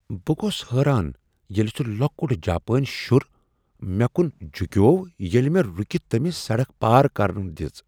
بہٕ گوس حٲران ییلِہ سُہ لۄکُٹ جاپٲنۍ شُر مےٚ کُن جوکِیو ییلِہ مےٚ رُکِتھ تٔمِس سڑک پار کرنہٕ دِژ۔